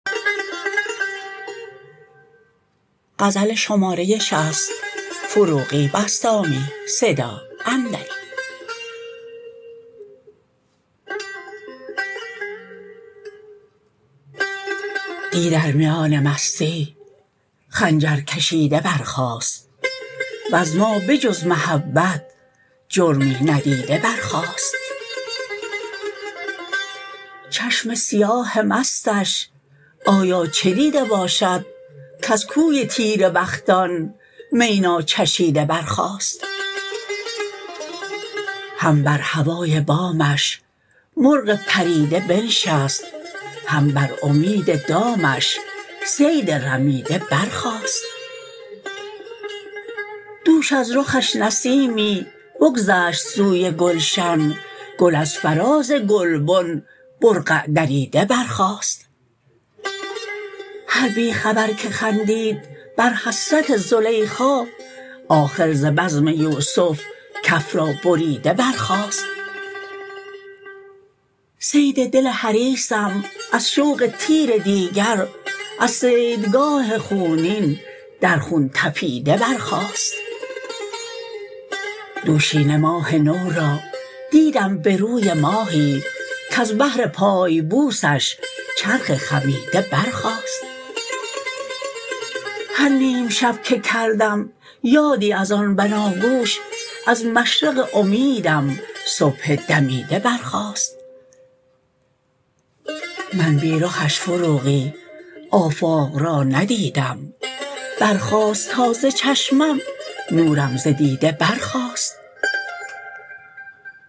دی در میان مستی خنجر کشیده برخاست وز ما به جز محبت جرمی ندیده برخاست چشم سیاه مستش آیا چه دیده باشد کز کوی تیره بختان می ناچشیده برخاست هم بر هوای بامش مرغ پریده بنشست هم بر امید دامش صید رمیده برخاست دوش از رخش نسیمی بگذشت سوی گلشن گل از فراز گلبن برقع دریده برخاست هر بی خبر که خندید بر حسرت زلیخا آخر ز بزم یوسف کف را بریده برخاست صید دل حریصم از شوق تیر دیگر از صیدگاه خونین در خون تپیده برخاست دوشینه ماه نو را دیدم به روی ماهی کز بهر پای بوسش چرخ خمیده برخاست هر نیم شب که کردم یادی از آن بناگوش از مشرق امیدم صبح دمیده برخاست من بی رخش فروغی آفاق را ندیدم برخاست تا ز چشمم نورم ز دیده برخاست